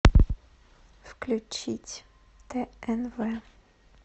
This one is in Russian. включить тнв